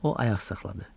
O ayaq saxladı.